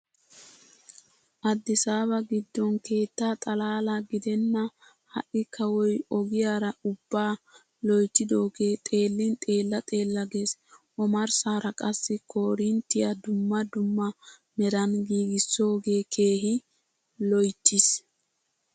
Addisaaba giddon keetta xalaala gidenna ha"i kawoy ogiyaaraa ubbaa loyttidoogee xeellin xeella xeella gees. Omarssaara qassi koorinttiyaa dumma dumma meran giigissoogee keehi loyttiis.